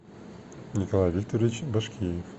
николай викторович башкиев